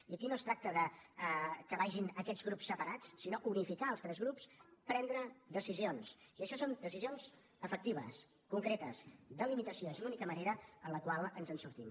i aquí no es tracta que vagin aquests grups separats sinó unificar els tres grups prendre decisions i això són decisions efectives concretes de limitació és l’única manera en la qual ens en sortim